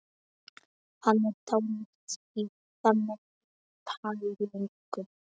Hann er dálítið í þannig pælingum.